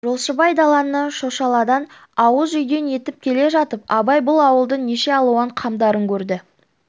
жолшыбай даланнан шошаладан ауыз үйден етіп келе жатып абай бұл ауылдың неше алуан қамдарын көрді